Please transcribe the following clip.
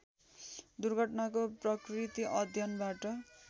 दुर्घटनाको प्रकृति अध्ययनबाट